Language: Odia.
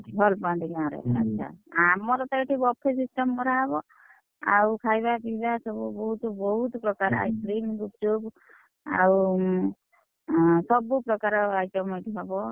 ଭଲ ପାଆନ୍ତି ଗାଁରେ ଆଚ୍ଛା! ଆମର ତ ଏଠି buffet system ପୁରା ହବ, ଆଉ ଖାଇବା ପିଇବା ଏ ସବୁ ବହୁତ୍ ବହୁତ୍ ପ୍ରକାର ice cream ଗୁପ୍ ଚୁପ୍, ଆଉ, ଆଁ ସବୁ ପ୍ରକାର item ଏଠି ହବ।